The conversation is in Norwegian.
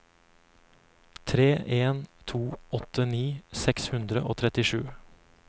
tre en to åtte nitti seks hundre og trettisju